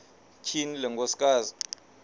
tyhini le nkosikazi